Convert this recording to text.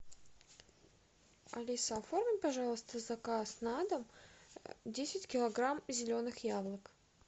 алиса оформи пожалуйста заказ на дом десять килограмм зеленых яблок